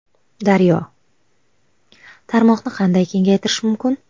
Daryo: Tarmoqni qanday kengaytirish mumkin?